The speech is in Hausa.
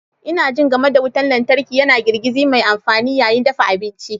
Ina jin game da wutar lantarki yana girgiza mai amfani yayin dafa abinci.